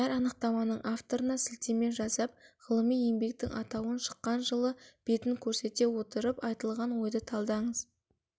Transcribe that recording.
әр анықтаманың авторына сілтеме жасап ғылыми еңбектің атауын шыққан жылы бетін көрсете отырып айтылған ойды талдаңыз